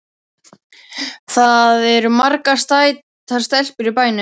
Það eru margar sætar stelpur í bænum.